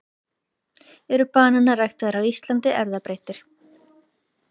eru bananar ræktaðir á íslandi erfðabreyttir